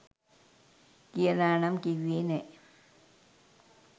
කියලා නම් කිව්වේ නැහැ.